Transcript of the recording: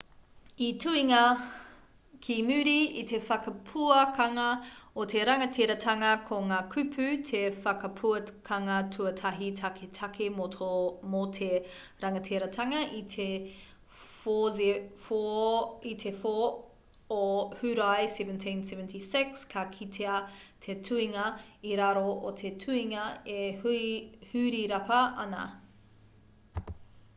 i tuhingia ki muri i te whakapuakanga o te rangatiratanga ko ngā kupu te whakapuakanga tuatahi taketake mō te rangatiratanga i te 4 o hurae 1776 ka kitea te tuhinga i raro o te tuhinga e hurirapa ana